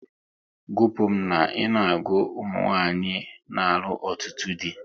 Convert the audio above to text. Gupu m na ị na-agụ ụmụnwanyị n'alụ ọtụtụ dị!